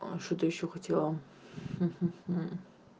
а что-то ещё хотела хм хм